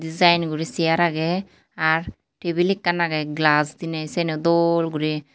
Degine uri chair agey ar tabil ekkan agey Glass diney siyeno dol guri.